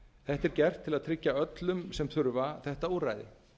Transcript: þetta er gert til að tryggja öllum sem þurfa þetta úrræði